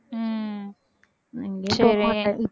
உம் சரி